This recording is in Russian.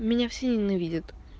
меня все ненавидят